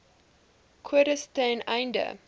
kodes ten einde